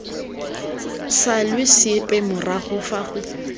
salwe sepe morago fa go